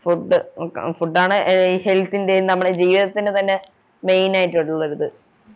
food ആഹ് food ആണ് health ൻ്റെ നമ്മളെ ജീവിതത്തിൻ്റെ തന്നെ main ആയിട്ടുള്ളെഒരിത്‌